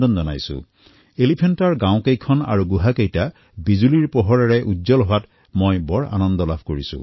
মই সুখী যে এতিয়া এলিফেণ্টা গাঁও তথা এলিফেণ্টাৰ গুহাসমূহ বিজুলীৰ পোহৰৰ দ্বাৰা উদ্ভাসিত হৈ উঠিব